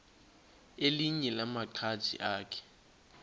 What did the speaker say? elinye lamaqhaji akhe